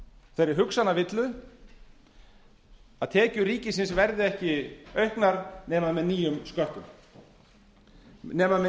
þeirri hugsanavillu að tekjur ríkisins verði ekki auknar nema með nýjum sköttum nema með